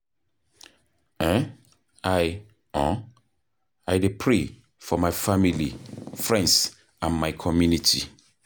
um i um i dey pray for my family, friends and my community.